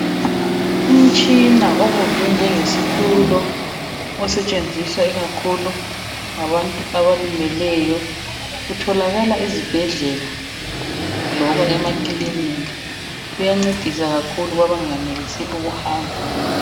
Umtshina obunjwe njengesitulo osetshenziswa ikakhulu ngabantu abalimeleyo. Utholakala ezibhedlela loba emakilinika. Kuyancedisa kakhulu kwabangenelisi ukuhamba.